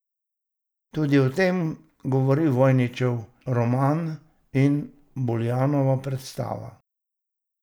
Tudi o tem, govori Vojnovićev roman in Buljanova predstava.